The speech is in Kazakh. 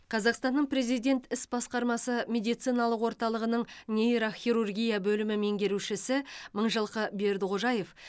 қазақстанның президент іс басқармасы медициналық орталығының нейрохирургия бөлімі меңгерушісі мыңжылқы бердіқожаев